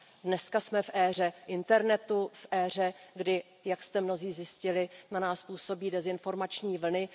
Dneska jsme v éře internetu, v éře kdy, jak jste mnozí zjistili, na nás působí dezinformační vlny.